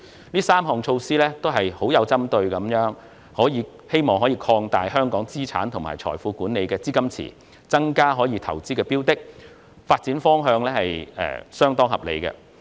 這3項針對性措施均旨在擴大香港在資產及財富管理方面的資金池，以及增加可投資標的，此發展方向相當合理。